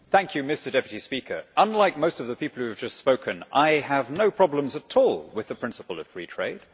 Mr President, unlike most of the people who have just spoken, I have no problems at all with the principle of free trade.